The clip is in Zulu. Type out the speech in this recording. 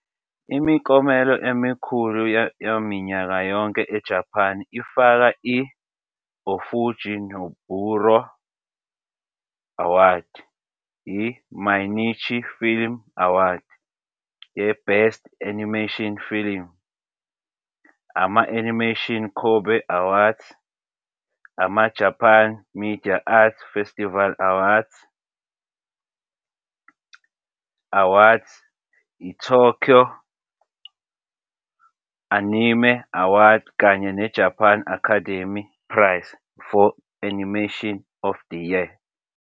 Imiklomelo emikhulu yaminyaka yonke eJapan ifaka i- Ōfuji Noburō Award, i- Mainichi Film Award ye-Best Animation Film, ama- Animation Kobe Awards, ama- Japan Media Arts Festival awards awards, iTokyo Anime Award kanye neJapan Academy Prize for Animation of the Year.